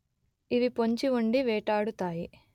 ఇవి పొంచి ఉండి వేటాడుతాయి